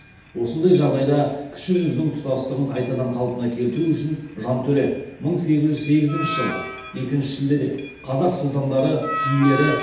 осындай жағдайда кіші жүздің тұтастығын қайтадан қалпына келтіру үшін жантөре мың сегіз жүз сегізінші жылы екінші шілдеде қазақ сұлтандары билері